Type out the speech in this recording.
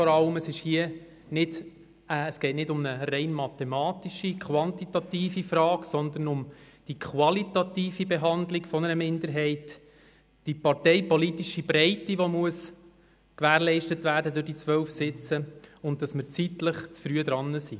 Es geht hier nicht um eine rein mathematische, quantitative Frage, sondern um die qualitative Behandlung einer Minderheit: die parteipolitische Breite, die durch die 12 Sitze gewährleistet werden muss, und dass wir zeitlich zu früh dran sind.